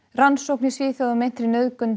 rannsókn í Svíþjóð á meintri nauðgun